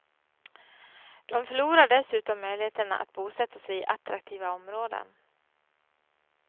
De förlorar dessutom möjligheten att bosätta sig i attraktiva områden.